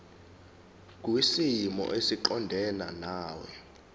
kwisimo esiqondena nawe